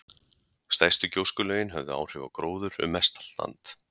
Stærstu gjóskulögin höfðu áhrif á gróður um mestallt land.